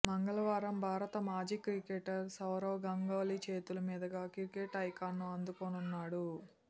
మంగళవారం భారత మాజీ క్రికెటర్ సౌరవ్ గంగూలీ చేతుల మీదుగా క్రికెట్ ఐకాన్ను అందుకోనున్నాడు